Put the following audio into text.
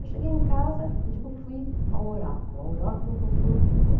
Eu cheguei em casa, eu digo, fui ao oráculo, ao oráculo é como no Google.